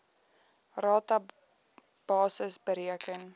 rata basis bereken